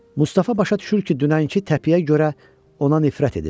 Mustafa başa düşür ki, dünənki təpiyə görə ona nifrət edir.